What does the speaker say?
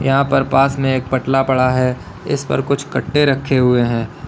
यहां पर पास में एक पटला पड़ा है इस पर कुछ कट्टे रखे हुए है।